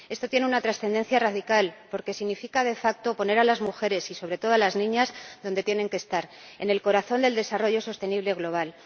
Esto tiene una trascendencia radical, porque significa, de facto poner a las mujeres y, sobre todo, a las niñas donde tienen que estar en el corazón del desarrollo sostenible global.